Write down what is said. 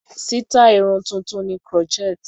Sítáì Irun tuntun ni crochet.